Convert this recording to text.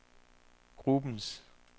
gruppens